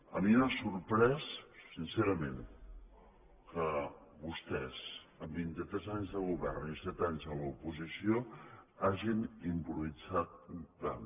a mi m’ha sorprès sincerament que vostès en vint i tres anys de govern i set anys a l’oposició hagin improvisat tant